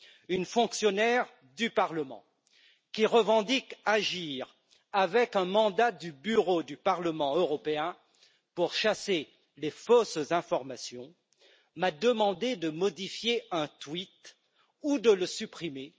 une fonctionnaire du Parlement, qui revendique agir avec un mandat du Bureau du Parlement européen pour chasser les fausses informations, m'a demandé de modifier un tweet ou de le supprimer.